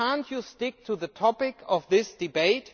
Can you not stick to the topic of this debate?